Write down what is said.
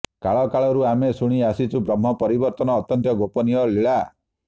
କାଳ କାଳରୁ ଆମେ ଶୁଣି ଆସୁଛୁ ବ୍ରହ୍ମ ପରିବର୍ତ୍ତନ ଅତ୍ୟନ୍ତ ଗୋପନୀୟ ଲୀଳା